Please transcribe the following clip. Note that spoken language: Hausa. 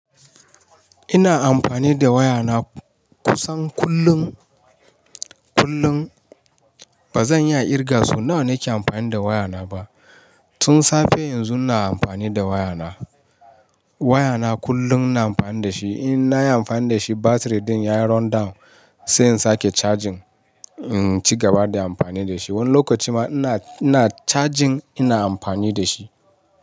Ina amfani da wayana kusan kullum, kullum. Ba zan iya kirga sau nawa nake amfani da wayana ba. Tun safe yanzu ina amfani da wayana. Wayana kullum ina amfani da shi. In nayi amfani da shi battery din ya run down sai in sake charging, in ci gaba da amfani da shi. Wani lokaci ma ina, ina charging ina amfani da shi.